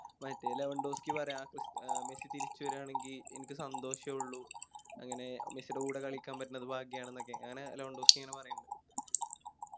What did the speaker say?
മറ്റേ പറയാ മെസ്സി തിരിച്ച് വരാണെങ്കി എനിക്ക് സന്തോഷെ ഉള്ളു അങ്ങനെ മെസ്സിടെ കൂടെ കളിക്കാൻ പറ്റണത് ഭാഗ്യണെന്നൊക്കെ അങ്ങനെ ലാമാൻഡോസ്‌കി ഇങ്ങനെ പറയിണ്ട്